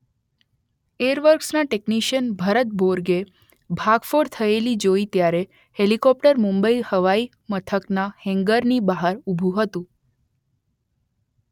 air વર્કસના technician Bharat Borge ભાંગફોડ થયેલી જોઈ ત્યારે હેલિકોપ્ટર મુંબઈ હવાઈ મથકના હેન્ગરની બહાર ઊભું હતું